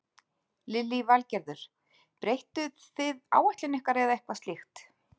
Lillý Valgerður: Breyttuð þið áætlun ykkar eða eitthvað slíkt?